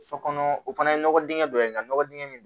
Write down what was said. So kɔnɔ o fana ye nɔgɔ dingɛ dɔ ye ka nɔgɔ dingɛ min